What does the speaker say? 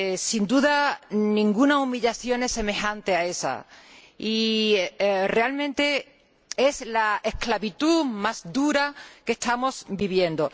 Sin duda, ninguna humillación es semejante a esa y realmente es la esclavitud más dura que estamos viviendo.